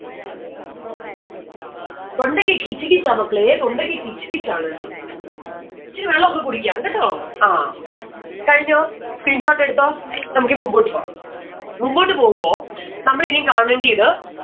തൊണ്ടക്ക് കിച്ച് കിച്ച് ആ മക്കളേ തൊണ്ടക്ക് കിച്ച് കിച്ച് ആണ്. ഇച്ചിരി വെള്ളൊക്കെ കുടിക്കാം കേട്ടോ? ആ കഴിഞ്ഞോ? screenshot എടുത്തോ? നമ്മുക്ക് ഇനി മുമ്പോട്ട് പോവാം. മുമ്പോട്ട് പോവുമ്പോ നമ്മളിനിയും കാണേണ്ടിയത്